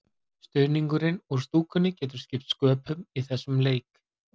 Stuðningurinn úr stúkunni getur skipt sköpum í þessum leik.